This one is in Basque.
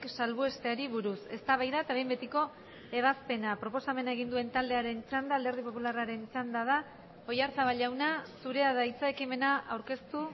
salbuesteari buruz eztabaida eta behin betiko ebazpena proposamena egin duen taldearen txanda alderdi popularraren txanda da oyarzabal jauna zurea da hitza ekimena aurkeztu